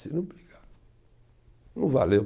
Se não brigar, não valeu.